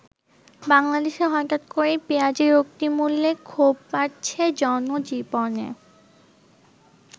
বাংলাদেশে হঠাৎ করেই পেঁয়াজের অগ্নিমূল্যে ক্ষোভ বাড়ছে জনজীবনে।